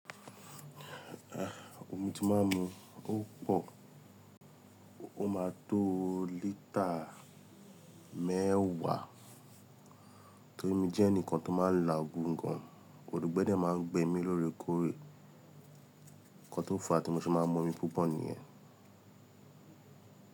Ah, omi tí máa ń mu ó pọ̀, ó máa tó lítà mẹ́wàá. Torí mi jẹ́ ẹnìkan tó máa ń la gùn gan, òngbẹ́ dẹ máa ń gbẹ mí lóore kóóre, ikàn tó fà á tí mo ṣe máa ń mu omi púpọ̀ nìyẹn.